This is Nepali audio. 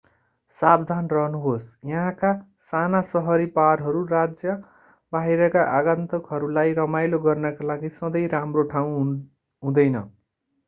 सावधान रहनुहोस् यहाँका साना शहरी बारहरू राज्य बाहिरका आगन्तुकहरूलाई रमाइलो गर्नका लागि सधैं राम्रो ठाउँ हुँदैन